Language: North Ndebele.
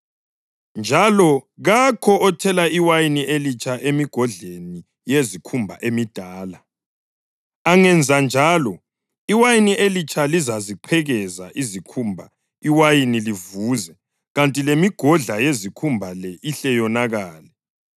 Njalo kakho othela iwayini elitsha emigodleni yezikhumba emidala. Angenza njalo iwayini elitsha lizaziqhekeza izikhumba iwayini livuze kuthi lemigodla yezikhumba leyo ihle yonakale.